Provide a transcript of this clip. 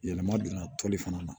Yɛlɛma donna toli fana na